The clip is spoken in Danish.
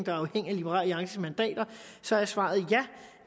er afhængige af liberal alliances mandater så er svaret ja